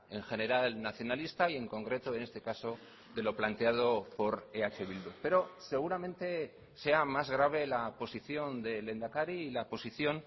en general nacionalista y en concreto en este caso de lo planteado por eh bildu pero seguramente sea más grave la posición del lehendakari y la posición